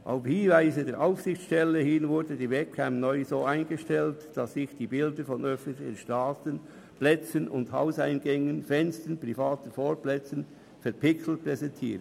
Auf Hinweise der Aufsichtsstelle hin wurde die Webcam neu so eingestellt, dass sich die Bilder von öffentlichen Strassen und Plätzen, von Hauseingängen, Fenstern und privaten Vorplätzen verpixelt präsentierten.